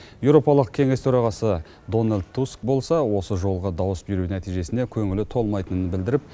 еуропалық кеңес төрағасы дональд туск болса осы жолғы дауыс беру нәтижесіне көңілі толмайтынын білдіріп